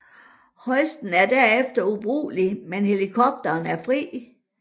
Hoisten er derefter ubrugelig men helikopteren er fri